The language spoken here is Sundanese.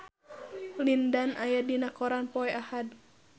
Lin Dan aya dina koran poe Ahad